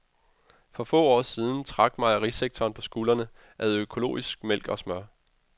For få år siden trak mejerisektoren på skuldrene ad økologisk mælk og smør.